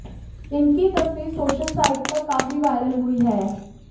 इनकी यह तस्वीर सोशल साइट पर काफी वायरल हुई हैं